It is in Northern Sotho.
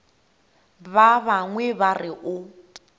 ba bangwe ba re o